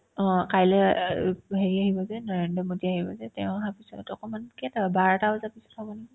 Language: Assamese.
অ, কাইলে অ আৰু হেৰি আহিব যে নৰেন্দ্ৰ মোডী আহিব যে তেও অহাৰ পিছত হয়তো অকমান কেইটা বাৰটা বজাৰ পিছত হ'ব নেকি ?